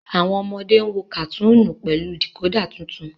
wón ọmọde ń wò katuni pẹlú decoder títún.